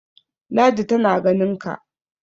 ladi tana ganinka!